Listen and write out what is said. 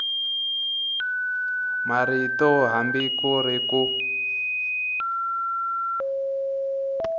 marito hambi ku ri ku